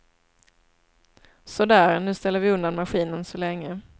Så där, nu ställer vi undan maskinen så länge.